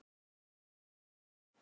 Best í heimi.